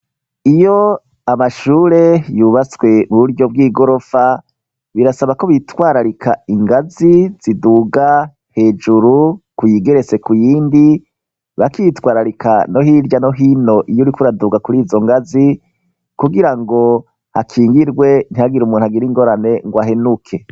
Iyo amashure yubatswe mu buryo bw'igorofa birasaba ko bitwararika ingazi ziduga hejuru ku yigeretse ku yindi, bakitwararika no hirya no hino iyo uriko uraduga kuri izo ngazi kugira ngo hakingirwe ntihagira umuntu hagira ingorane ngo ahenuke.